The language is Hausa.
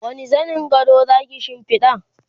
wani zanin gado Zaki shimfiɗa?